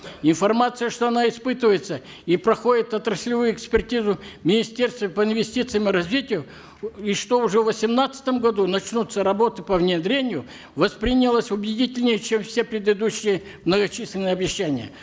информация что она испытывается и проходит отраслевую экспертизу в министерстве по инвестициям и развитию и что уже в восемнадцатом году начнутся работы по внедрению воспринялась убедительнее чем все предыдущие многочисленные обещания